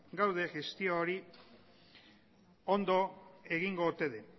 gaude gestio hori ondo egingo ote den